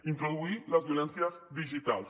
introduir les violències digitals